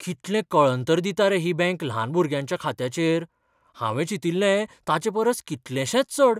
कितलें कळंतर दिता रे ही बंक ल्हान भुरग्यांच्या खात्याचेर. हावें चिंतिल्लें ताचेपरस कितलेशेंच चड!